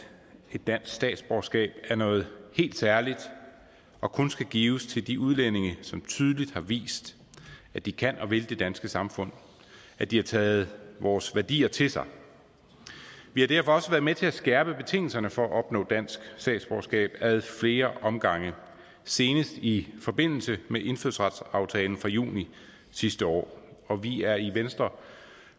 dansk statsborgerskab er noget helt særligt og kun skal gives til de udlændinge som tydeligt har vist at de kan og vil det danske samfund at de har taget vores værdier til sig vi har derfor også været med til at skærpe betingelserne for at opnå dansk statsborgerskab ad flere omgange senest i forbindelse med indfødsretsaftalen fra juni sidste år år vi er i venstre